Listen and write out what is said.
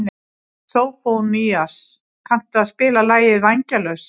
Sófónías, kanntu að spila lagið „Vængjalaus“?